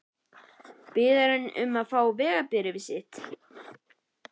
Biður hann um að fá að sjá vegabréfið mitt?